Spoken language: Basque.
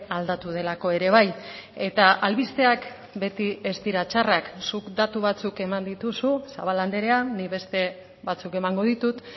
aldatu delako ere bai eta albisteak beti ez dira txarrak zuk datu batzuk eman dituzu zabala andrea nik beste batzuk emango ditut